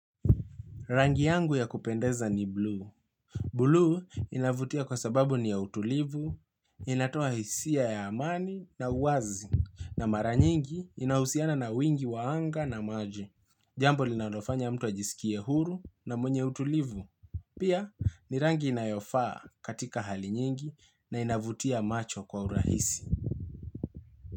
Rangi yangu ya kupendeza ni bluu. Bluu inavutia kwa sababu ni ya utulivu, inatoa hisia ya amani na uwazi, na mara nyingi inahusiana na wingi waanga na maji. Jambo linalofanya mtu ajisikia huru na mwenye utulivu. Pia, ni rangi inayofaa katika hali nyingi na inavutia macho kwa urahisi.